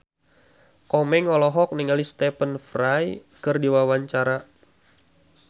Komeng olohok ningali Stephen Fry keur diwawancara